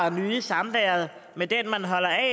at nyde samværet med den man holder af